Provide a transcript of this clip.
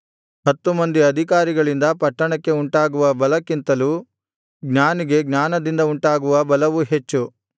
ಹತ್ತು ಮಂದಿ ಅಧಿಕಾರಿಗಳಿಂದ ಪಟ್ಟಣಕ್ಕೆ ಉಂಟಾಗುವ ಬಲಕ್ಕಿಂತಲೂ ಜ್ಞಾನಿಗೆ ಜ್ಞಾನದಿಂದ ಉಂಟಾಗುವ ಬಲವು ಹೆಚ್ಚು